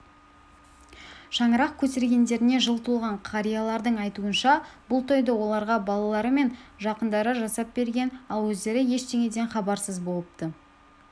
шаңырақ көтергендеріне жыл толған қариялардың айтуынша бұл тойды оларға балалары мен жақындары жасап берген ал өздері ештеңеден хабарсыз болыпты